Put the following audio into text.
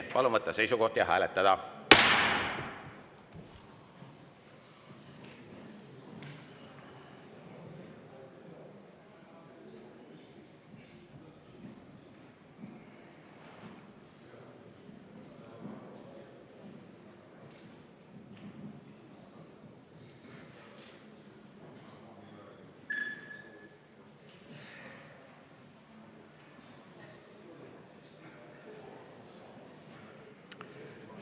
Palun võtta seisukoht ja hääletada!